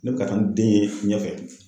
Ne bɛ ka taa ni den ye ɲɛfɛ.